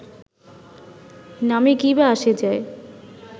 নামে কী বা আসে যায়